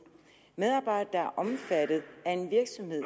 medarbejdere der er omfattet af en virksomhed